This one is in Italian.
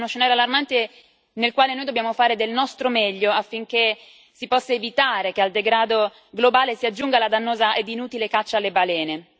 È uno scenario allarmante nel quale noi dobbiamo fare del nostro meglio affinché si possa evitare che al degrado globale si aggiunga la dannosa ed inutile caccia alle balene.